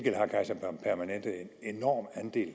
enorm andel